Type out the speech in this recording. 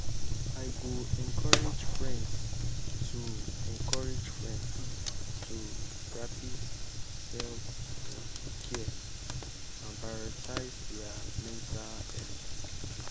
i go encourage friends go encourage friends to practice self-care and prioritize their mental health.